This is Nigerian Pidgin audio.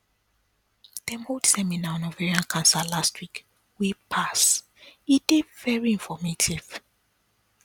dem hold seminar on ovarian cancer last week wey pass e dey very informative